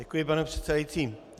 Děkuji, pane předsedající.